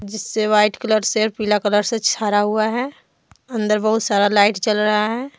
जिससे white colour से पीला कलर से छरा हुआ है अंदर बहुत सारा लाइट चल रहा है।